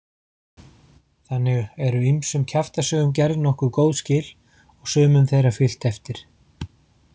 Þannig eru ýmsum kjaftasögum gerð nokkuð góð skil og sumum þeirra fylgt eftir.